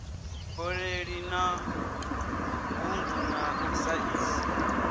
boḓelo na ṱhungu na saizi